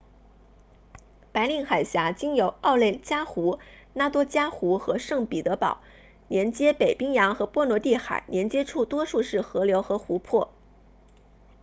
白令海峡经由奥内加湖 lake onega 拉多加湖 lake ladoga 和圣彼得堡 saint petersburg 连接北冰洋和波罗的海连接处多数是河流和湖泊